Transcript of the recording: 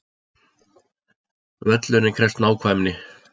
Völlurinn krefst nákvæmni